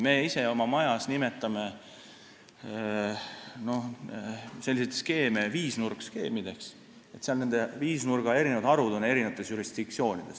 Meie ise oma majas nimetame selliseid skeeme viisnurk-skeemideks – selle viisnurga harud on eri jurisdiktsioonides.